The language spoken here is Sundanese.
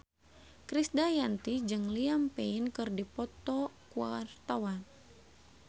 Krisdayanti jeung Liam Payne keur dipoto ku wartawan